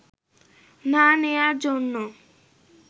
না নেয়ার জন্য